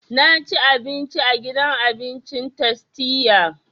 Na ci abinci a gidan abincin tastia